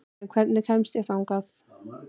Jenni, hvernig kemst ég þangað?